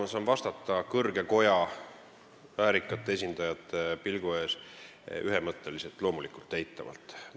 Ma saan vastata kõrge koja väärikate esindajate pilgu ees ühemõtteliselt, loomulikult eitavalt.